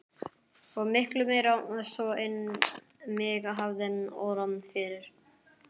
Og miklu meira svo en mig hafði órað fyrir.